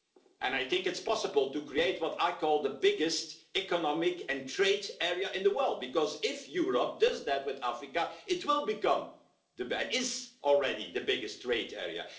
EU. And I think it is possible to create what I would call the biggest economic and trade area in the world, because if Europe does that with Africa, it will become it is already the biggest trade area.